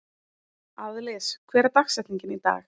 Aðlis, hver er dagsetningin í dag?